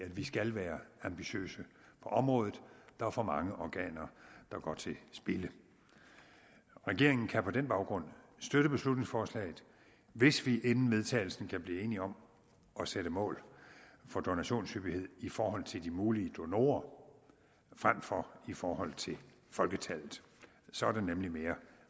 at vi skal være ambitiøse på området der er for mange organer der går til spilde regeringen kan på den baggrund støtte beslutningsforslaget hvis vi inden vedtagelsen kan blive enige om at sætte mål for donationshyppighed i forhold til de mulige donorer frem for i forhold til folketallet så er det nemlig mere